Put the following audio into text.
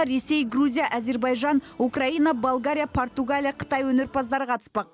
ресей грузия әзербайжан украина болгария португалия қытай өнерпаздары қатыспақ